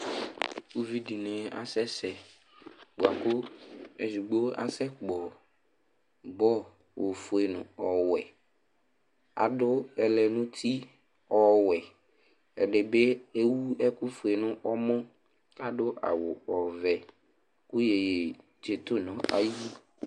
Uvi dɩnɩ asɛsɛ bʋa kʋ edigbo asɛkpɔ bɔl ofue nʋ ɔwɛ, adʋ ɛlɛnʋti ɔwɛ Ɛdɩ bɩ ewu ɛkʋfue nʋ ɔmɔ Adʋ awʋ ɔvɛ kʋ iyeye atsɩtʋ nʋ ayili